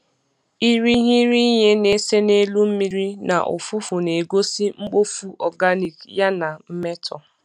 Irighiri ihe na-ese n'elu mmiri na ụfụfụ na-egosi mkpofu organic ya na mmetọ